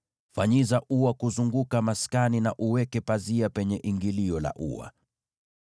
Fanyiza ua kuzunguka maskani na uweke pazia penye ingilio la ua.